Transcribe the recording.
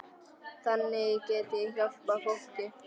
Þannig get ég hjálpað fólki.